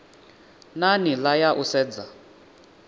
na nila ya u sedza